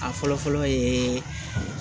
A fɔlɔ fɔlɔ yeeee